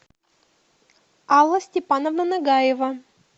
алла степановна нагаева